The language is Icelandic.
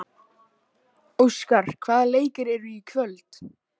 Óskar, hvaða leikir eru í kvöld?